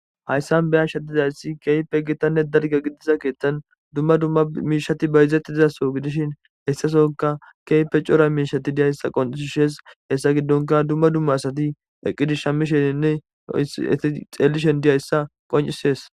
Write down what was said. hayssan beyasha dizayssi kehiipe gitanne dalga gidiza keeththan dumma dumma miishati bayizetti dizaso gidishin hessasonka keype cora miishati diyayssa qonushishees hessa giddonka dumma dumma asati eqqidish shammisheninne ei xeellishen diyayssa qoncisees